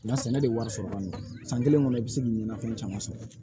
Nka sɛnɛ de wari sɔrɔ kɔni san kelen kɔnɔ i bi se k'i ɲɛnafɛn caman sɔrɔ